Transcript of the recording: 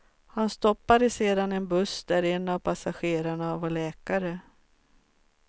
Han stoppade sedan en buss där en av passagerarna var läkare.